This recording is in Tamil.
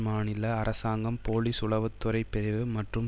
மாநில அரசாங்கம் போலீஸ் உளவு துறை பிரிவு மற்றும்